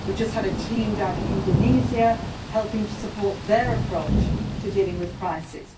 We have just had a team down in Indonesia helping to support their approach to dealing with crisis.